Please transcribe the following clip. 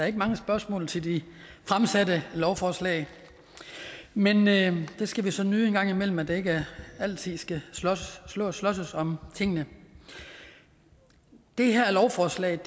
ikke mange spørgsmål til de fremsatte lovforslag men men det skal vi så nyde en gang imellem at der ikke altid skal slåsses om tingene det her lovforslag